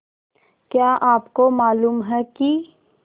क्या आपको मालूम है कि